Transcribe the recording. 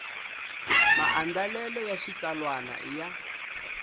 maandlalelo ya xitsalwana i ya